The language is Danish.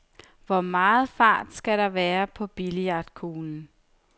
Hvor meget fart skal der være på billiardkuglen?